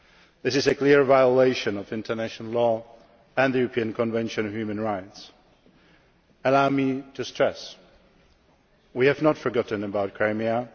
This is a clear violation of international law and the European Convention of Human Rights. Allow me to stress that we have not forgotten about Crimea